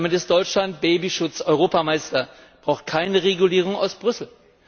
Damit ist Deutschland Babyschutz Europameister, es braucht keine Regulierung aus Brüssel.